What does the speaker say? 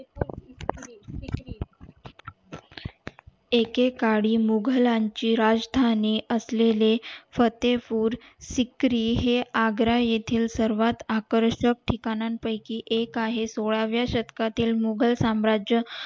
एके काळी मुखलांची राजधानी असलेले फते पूर फिक्री हे आग्रा येथील सर्वात आकर्षक ठिकाणा पयकी एक आहे सोळाव्या शतकातील मुघलसाम्राज्य